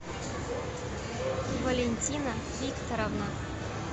валентина викторовна